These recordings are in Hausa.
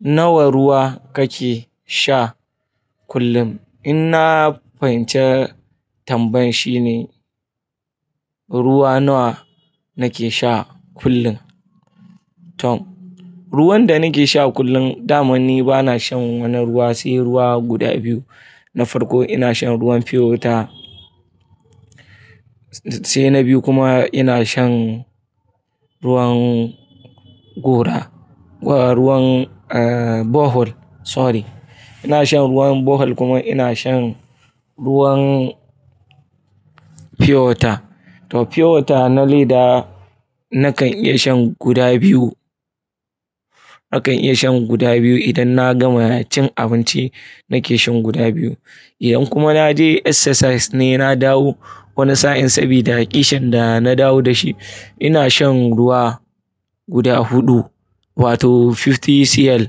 Nawa ruwa kake sha kullum? In na fahimci tambayan shine ruwa nawa nake sha kullum. Tom, ruwan da nake sha kullum, damani bana shan wannan ruwa, sai ruwa guda biyu na farko ina shan ruwan "pure water," sai na biyu kuma ina shan ruwan gora, ruwan, borehole, sorry. Ina shan ruwan borehole kuma ina shan ruwan pure water. To pure water na leda nakan iya shan guda biyu. Nakan iya shan guda biyu idan na gama cin abinci nake shan guda biyu. In kuma na je exercises ne na dawo wani sa'in sabida ƙishin da na dawo da shi, ina shan ruwa guda huɗu wato 50 cl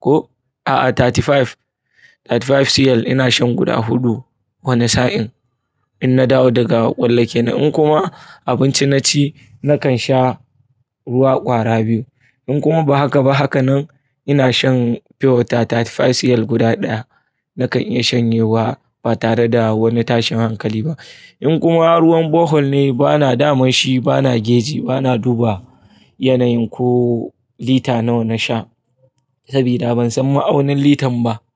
ko a'a 35, 35 cl ina shan guda huɗu wani sa'in in na dawo daga ƙwallake na. In kuma abinci naci nakan sha ruwa ƙwara biyu. In kuma ba haka ba, haka nan ina shan pure water 35 cl guda ɗaya nakan iya shanyewa ba tare da wani tashin hankali ba. In kuma ruwan borehole ne bana, daman shi bana geji, bana duba yanayin ko lita nawa na sha sabida ban san ma aunin litan ba.